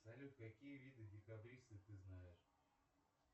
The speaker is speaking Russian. салют какие виды декабристов ты знаешь